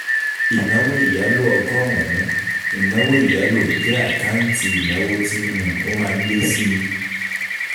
Ìnáwó ìyálò ọgọ́rùn-ún, ìnáwó ìyálò jẹ́ àkáǹtì ìnáwó tí um ó má ń lé síi.